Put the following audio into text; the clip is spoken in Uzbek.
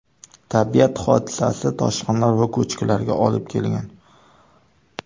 Tabiat hodisasi toshqinlar va ko‘chkilarga olib kelgan.